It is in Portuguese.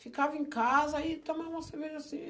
Ficava em casa e tomava cerveja assim.